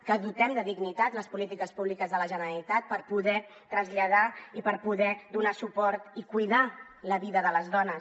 que dotem de dignitat les polítiques públiques de la generalitat per poder traslladar i per poder donar suport i cuidar la vida de les dones